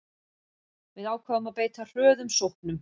Við ákváðum að beita hröðum sóknum